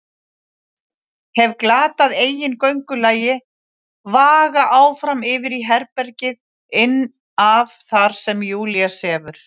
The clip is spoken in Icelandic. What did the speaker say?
Hef glatað eigin göngulagi, vaga áfram yfir í herbergið inn af þar sem Júlía sefur.